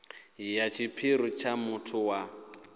ya tshiphiri tsha muthu wa